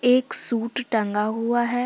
एक सूट टंगा हुआ है।